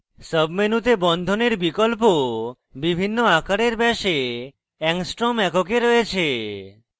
sub মেনুতে বন্ধনের বিকল্প বিভিন্ন আকারের ব্যাসে angstrom এককে রয়েছে